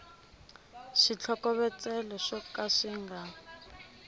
switlhokovetselo swo ka swi nga